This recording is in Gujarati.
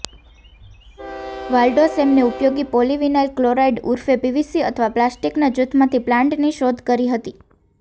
વાલ્ડો સેમને ઉપયોગી પોલિવિનાઇલ ક્લોરાઇડ ઉર્ફ પીવીસી અથવા પ્લાસ્ટિકના જૂથમાંથી પ્લાન્ટની શોધ કરી હતી